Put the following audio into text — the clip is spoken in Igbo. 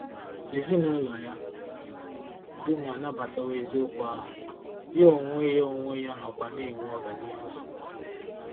Ezinụlọ ya dum anabatawo eziokwu ahụ, ya onwe ya onwe ya nọkwa na-enwe ọganihu dị mma.